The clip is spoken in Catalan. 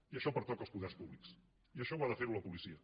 i això pertoca als poders públics i això ho ha de fer la policia